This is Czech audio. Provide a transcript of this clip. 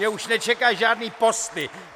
Mě už nečekají žádné posty.